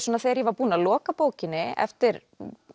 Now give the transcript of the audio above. þegar ég var búin að loka bókinni eftir